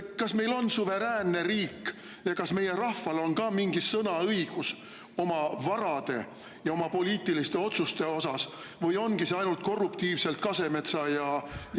Kas meil on suveräänne riik ja kas meie rahval on ka mingi sõnaõigus oma varade ja poliitiliste otsuste osas või ongi see korruptiivselt ainult Kasemetsa, Michali …